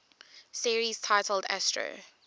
series titled astro